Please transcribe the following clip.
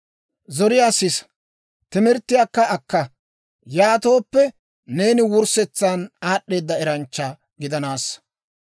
Zoriyaa sisa; timirttiyaakka akka. Yaatooppe, neeni wurssetsan aad'd'eeda eranchcha gidanassa.